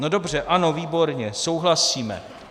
No dobře, ano, výborně, souhlasíme.